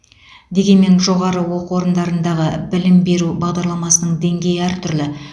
дегенмен жоғары оқу орындарындағы білім беру бағдарламасының деңгейі әртүрлі